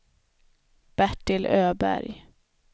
Bertil Öberg